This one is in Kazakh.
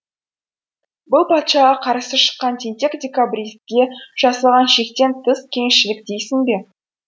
бұл патшаға қарсы шыққан тентек декабристке жасалған шектен тыс кеңшілік дейсің бе